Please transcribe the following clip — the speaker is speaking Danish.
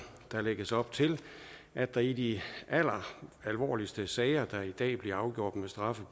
der lægges således op til at der i de alvorligste sager der i dag bliver afgjort med straffe